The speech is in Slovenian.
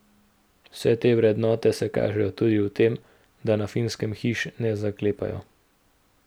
Vse te vrednote se kažejo tudi v tem, da na Finskem hiš ne zaklepajo.